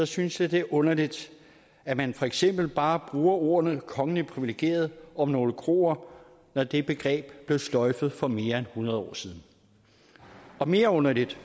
synes jeg det er underligt at man for eksempel bare bruger ordene kongeligt privilegeret om nogle kroer når det begreb blev sløjfet for mere end hundrede år siden og mere underligt